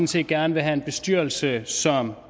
set gerne vil have en bestyrelse som